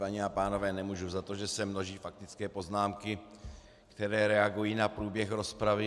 Paní a pánové, nemůžu za to, že se množí faktické poznámky, které reagují na průběh rozpravy.